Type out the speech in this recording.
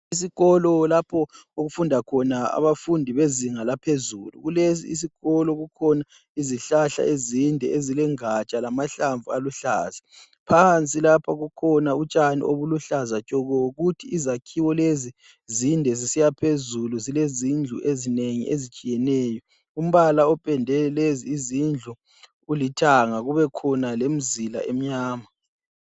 Isikolo lapho okufundakhona abafundi bezingalphezulu kulesosikolo kuselizihlahla ezinde ezilengatshala ezinde ezilamahlamvu aluhlaza phansi lapha kukhona utshani olubuhlaza tshoko kuthi izakhiwolezi zinde zisiyaphezulu kulezindlu ezinengi ezitshiyeneyo impala opende lezizindlu ulithanda kubekhona lemizila emnyama